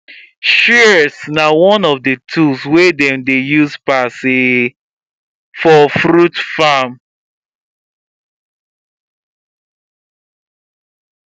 shears na one of the tools wey dem dey use pass for fruit farm